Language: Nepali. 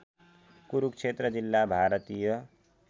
कुरुक्षेत्र जिल्ला भारतीय